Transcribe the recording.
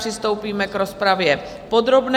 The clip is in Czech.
Přistoupíme k rozpravě podrobné.